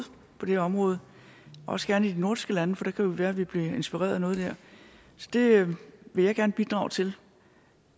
på det her område også gerne i de nordiske lande for det kan jo være at vi bliver inspireret af noget der så det vil jeg gerne bidrage til